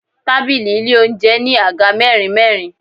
Tábìlì ilé oúnjẹ ní Àga mẹ́rin mẹ́rin.